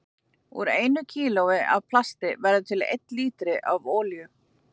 Úr einu kílói af plasti verður til um einn lítri af olíu.